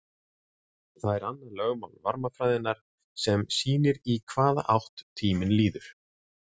Það er annað lögmál varmafræðinnar sem sýnir í hvaða átt tíminn líður.